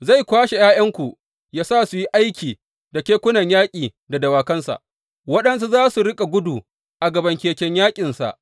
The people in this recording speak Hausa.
Zai kwashe ’ya’yanku yă sa su yi aiki da kekunan yaƙi da dawakansa, waɗansu za su riƙa gudu a gaban keken yaƙinsa.